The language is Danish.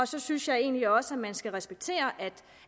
så synes jeg egentlig også at man skal respektere